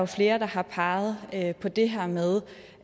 flere der har peget på det her med